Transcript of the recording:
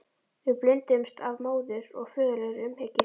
Við blinduðumst af móður- og föðurlegri umhyggju.